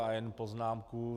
A jen poznámka.